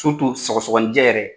Surutu sɔgɔsɔnijɛ yɛrɛ